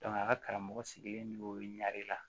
a ka karamɔgɔ sigilen don ɲɛ de la